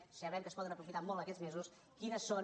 sabem que es po·den aprofitar molt aquests mesos quines són